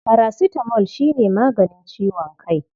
Parasitamol shi ne maganin ciwon kai.